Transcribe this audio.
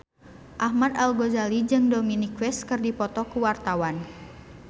Ahmad Al-Ghazali jeung Dominic West keur dipoto ku wartawan